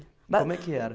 Ma.. Como é que era?